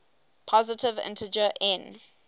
positive integer n